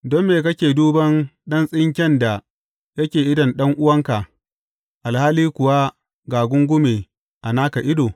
Don me kake duban ɗan tsinken da yake idon ɗan’uwanka, alhali kuwa ga gungume a naka ido?